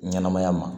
Ɲɛnɛmaya ma